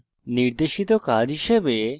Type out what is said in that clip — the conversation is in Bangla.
নির্দেশিত কাজ হিসাবে